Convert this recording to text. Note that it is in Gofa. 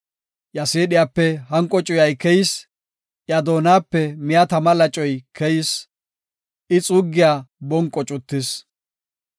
Iya siidhiyape hanqo cuyay keyis; iya doonape miya tama lacoy keyis; I xuuggiya bonqo cuttis.